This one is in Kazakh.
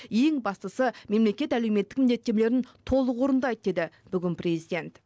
ең бастысы мемлекет әлеуметтік міндеттемелерін толық орындайды деді бүгін президент